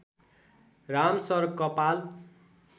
राम सर कपाल